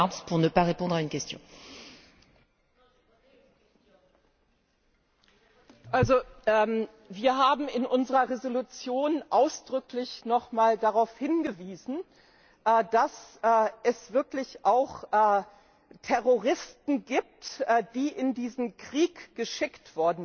Wir haben in unserer Entschließung ausdrücklich noch mal darauf hingewiesen, dass es wirklich auch Terroristen gibt, die in diesen Krieg geschickt worden sind. Seit längerem wird darüber diskutiert, dass da Leute sind, die aus Tschetschenien bekannt sind.